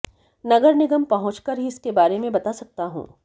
नगर निगम पहुंचकर ही इसके बारे में बता सकता हूं